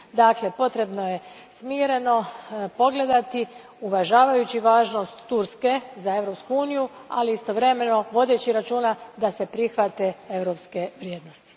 Dakle, potrebno je smireno pogledati uvažavajući važnost Turske za Europsku uniju, ali istovremeno vodeći računa da se prihvate europske vrijednosti.